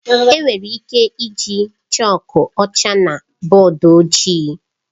Enwere ike iji chọọku ọcha na bọọdụ ojii.